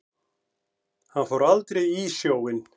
Hann fór aldrei í sjóinn.